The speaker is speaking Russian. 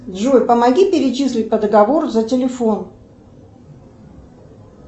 джой помоги перечислить по договору за телефон